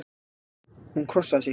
Hún krossaði sig.